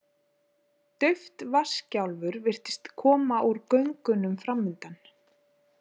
Dauft vatnsgjálfur virtist koma úr göngunum framundan.